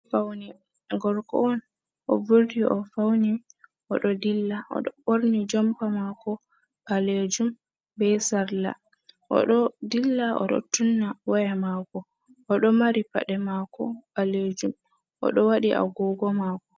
Faune, Gorko'on o vurti o fauni, odo dilla, oɗo borni jompa mako balejum ɓe salla, Oɗo dilla oɗo tunna waya mako, oɗo mari paɗe mako ɓalejum oɗo wadi a gogo mako.